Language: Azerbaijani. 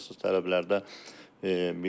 Əsassız tələblərdə biri nədir?